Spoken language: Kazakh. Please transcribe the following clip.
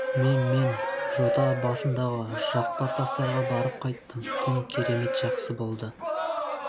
мен мен жота басындағы жақпар тастарға барып қайттым түн керемет жақсы болды